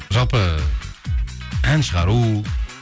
жалпы ән шығару